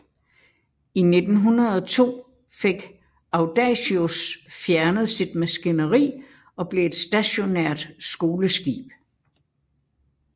I 1902 fik Audacious fjernet sin maskineri og blev et stationært skoleskib